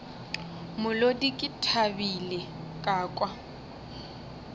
molodi ke thabile ka kwa